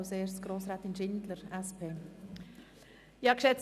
Als Erste hat Grossrätin Schindler das Wort.